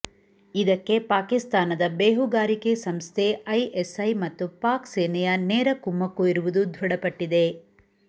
ಇದಕ್ಕೆ ಪಾಕಿಸ್ತಾನದ ಬೇಹುಗಾರಿಕೆ ಸಂಸ್ಥೆ ಐಎಸೈ ಮತ್ತು ಪಾಕ್ ಸೇನೆಯ ನೇರ ಕುಮ್ಮುಕ್ಕು ಇರುವುದು ದೃಢಪಟ್ಟಿದೆ